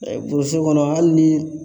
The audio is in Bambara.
burusi kɔnɔ hali ni